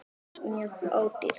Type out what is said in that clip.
ALLT MJÖG ÓDÝRT!